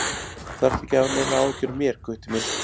Þú þarft ekki að hafa neinar áhyggjur af mér, Gutti minn.